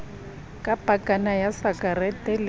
ka pakana ya sakarete le